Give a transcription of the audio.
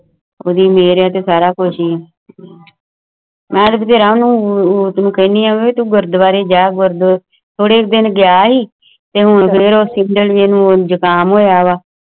ਉਡਦੀ ਮੇਹਰ ਹੈ ਤੇ ਸਾਰਾ ਕੁਛ ਹੈ ਹੈ ਮੈਂ ਬਥੇਰਾ ਨੂੰ ਉਹ ਉਸਨੂੰ ਕਹਿੰਦੀ ਹੈ ਕਿ ਗੁਰਦਵਾਰੇ ਜਾਇ ਗੁਰਦਵਾਰੇ ਜਾਇ